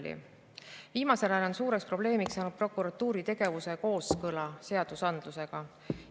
Viimasel ajal on suuri probleeme olnud prokuratuuri tegevus on kooskõlas seadusandlusega.